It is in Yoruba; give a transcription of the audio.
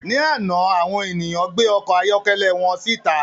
Ní àná, àwọn ènìyàn gbé ọkọ̀ ayọ́kẹ́lẹ́ wọn síta